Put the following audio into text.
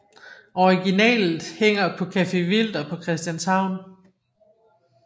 Originalet hænger på Café Wilder på Christianshavn